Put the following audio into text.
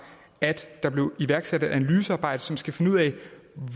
at der bliver iværksat et analysearbejde som skal finde ud af